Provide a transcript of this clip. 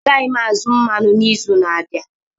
Agaghị m azụ mmanụ n'izu na-abịa